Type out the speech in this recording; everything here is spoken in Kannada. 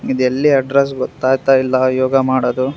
ಇದೆಲ್ಲಿ ಅಡ್ಡ್ರೆಸ್ಸ್ ಗೊತ್ತಗ್ತಿಲ್ಲ ಯೋಗ ಮಾಡೊದು.